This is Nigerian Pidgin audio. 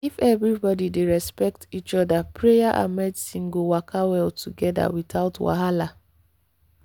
if everybody dey respect each other prayer and medicine go waka well together without wahala.